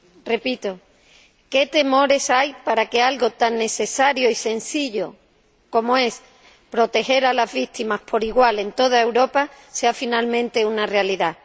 Repito ¿qué temores hay para que algo tan necesario y sencillo como es proteger a las víctimas por igual en toda Europa sea finalmente una realidad?